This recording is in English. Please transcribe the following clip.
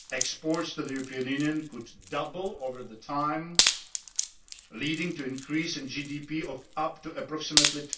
Exports to the European Union could double over time, leading to an increase in GDP of up to approximately